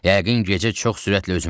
Yəqin gecə çox sürətlə üzməz.